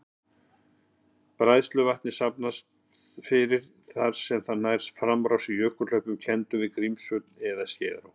Bræðsluvatnið safnast fyrir þar til það nær framrás í jökulhlaupum kenndum við Grímsvötn eða Skeiðará.